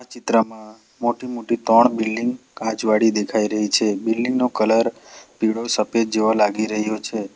આ ચિત્રમાં મોટી-મોટી ત્રણ બિલ્ડીંગ કાચવાડી દેખાઈ રહી છે બિલ્ડીંગ નો કલર પીળો સફેદ જેવો લાગી રહ્યો છે.